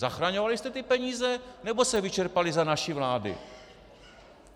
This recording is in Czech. Zachraňovali jste ty peníze, nebo se vyčerpaly za naší vlády?